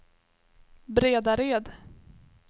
Bredared